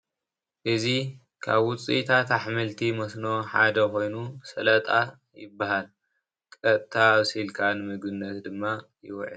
እዚ ካብ ውፅአታት አሕምልቲ መስኖሓደ ኮይኑ ሰላጣ ይበሃል ቀጥታ ኣብሲልካ ንምግቤነት ከዓ ይውዕል።